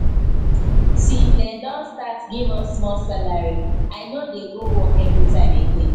since they don start give us small salary i no dey go work everytime again